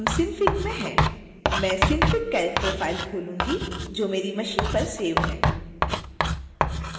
मैं synfigcharacter file खोलूंगी जो मेरी मशीन पर सेव है